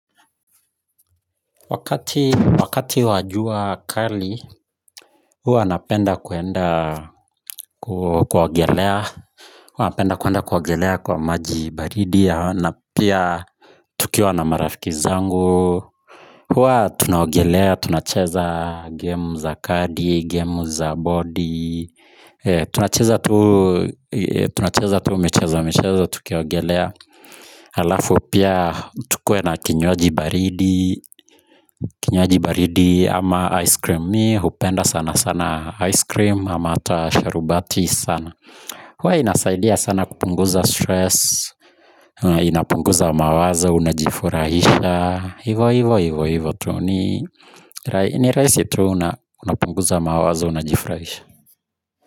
Wakati wa jua kali huwa napenda kwenda kuwa kuogelea huwa napenda kwenda kuogelea kwa maji baridi na pia tukiwa na marafiki zangu huwa tunaogelea tunacheza game za kadi game za bodi tunacheza tu michezo michezo tukiogelea halafu pia tukuwe na kinywaji baridi kinywaji baridi ama ice cream mimi hupenda sana sana ice cream ama ata sharubati sana huwa inasaidia sana kupunguza stress inapunguza mawazo unajifurahisha hivo hivo hivo hivo tuu ni ni rahisi tu unapunguza mawazo unajifurahisha.